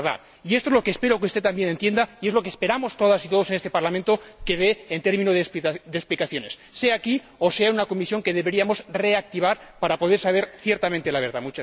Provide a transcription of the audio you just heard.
Y esto es lo que espero que usted también entienda y es lo que esperamos todas y todos en este Parlamento que dé explicaciones, sea aquí o sea en una comisión que deberíamos reactivar para poder saber ciertamente la verdad.